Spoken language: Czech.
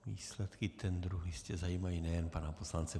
Výsledky tendru jistě zajímají nejen pana poslance.